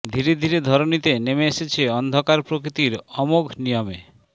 ধীরে ধীরে ধরণীতে নেমে এসেছে অন্ধকার প্রকৃতির অমোঘ নিয়মে